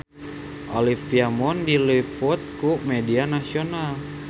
Olivia Munn diliput ku media nasional